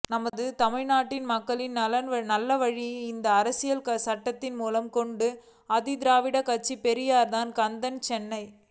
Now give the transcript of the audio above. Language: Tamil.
நமது தமிழ்நாட்டிலும் மக்களுக்கு நல் வழியை இந்த அரசியல் சட்டத்தின் மூலம் கொடுத்தது திராவிடக்கட்சிதான்தந்தை பெரியார்தான் கந்தன் சென்னை